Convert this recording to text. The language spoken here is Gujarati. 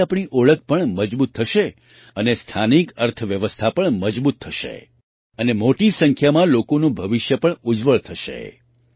તેનાથી આપણી ઓળખ પણ મજબૂત થશે અને સ્થાનિક અર્થવ્યવસ્થા પણ મજબૂત થશે અને મોટી સંખ્યાંમાં લોકોનું ભવિષ્ય પણ ઉજ્જવળ થશે